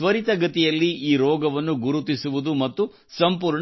ತ್ವರಿತಗತಿಯಲ್ಲಿ ಈ ರೋಗವನ್ನು ಗುರುತಿಸುವುದು ಮತ್ತು ಸಂಪೂರ್ಣ ಚಿಕಿತ್ಸೆ